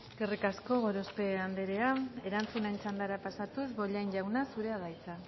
eskerrik asko gorospe andrea erantzunen txandara pasatu bollain jauna zurea da hitza